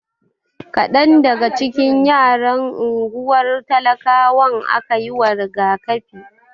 Kadan daga cikin yaran unguwar talakawan aka yiwa rigakafi.